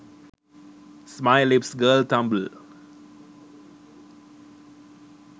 smile lips girl tumblr